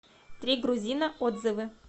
три грузина отзывы